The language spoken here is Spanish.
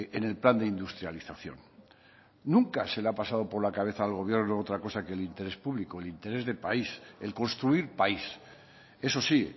en el plan de industrialización nunca se le ha pasado por la cabeza al gobierno otra cosa que el interés público el interés de país el construir país eso sí